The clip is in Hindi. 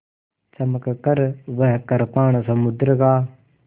चमककर वह कृपाण समुद्र का